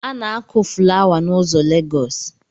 A na-akụ fụlawa n’ụzọ Legosi